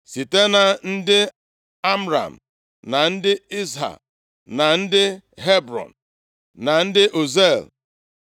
Site na ndị Amram, na ndị Izha, na ndị Hebrọn, na ndị Uziel.